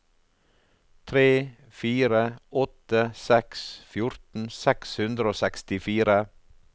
tre fire åtte seks fjorten seks hundre og sekstifire